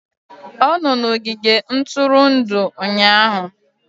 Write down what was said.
Ọ nọ n'ogige ntụrụndụ ụnyahụ